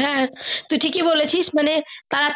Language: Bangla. হ্যাঁ তুই ঠিক এ বলেছি মানে তাঁরা